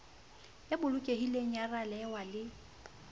e bolokehileng ya ralewa le